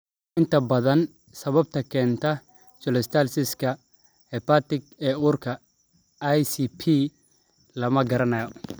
Inta badan, sababta keentay cholestasis-ka-hepatic ee uurka (ICP) lama garanayo.